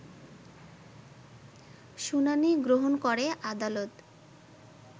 শুনানি গ্রহণ করে আদালত